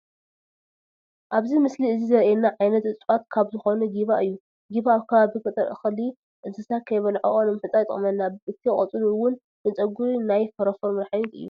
ኣብዚ ምስሊ እዚ ዘሪኤና ዓይነት እፀዋት ካብ ዝኾኑ ጊባ እዩ፡፡ ጊባ ኣብ ከባቢ ገጠር እኽሊ እንስሳ ከይበልዖኦ ንምሕፃር ይጠቕመና፡፡ እቲ ቆፅሉ ውን ንፀጉሪ ናይ ፎሮፎር መድሓኒት እዩ